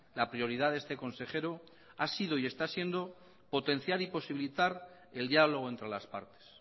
la prioridad de este consejero ha sido y está siendo potenciar y posibilitar el diálogo entre las partes